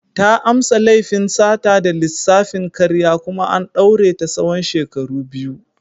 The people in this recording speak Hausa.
Ta amsa laifin sata da lissafin karya kuma an daure ta tsawon shekaru biyu.